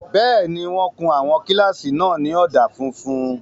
Bẹ́ẹ̀ni, wọ́n kun àwọn kílásì náà ní ọ̀dà funfun